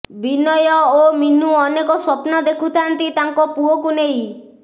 ବିନୟ ଓ ମିନୁ ଅନେକ ସ୍ୱପ୍ନ ଦେଖୁଥାନ୍ତି ତାଙ୍କ ପୁଅକୁ ନେଇ